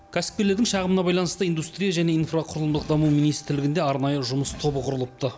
кәсіпкерлердің шағымына байланысты индустрия және инфрақұрылымдық даму министрлігінде арнайы жұмыс тобы құрылыпты